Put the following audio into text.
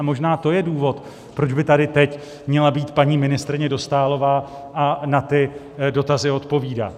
A možná to je důvod, proč by tady teď měla být paní ministryně Dostálová a na ty dotazy odpovídat.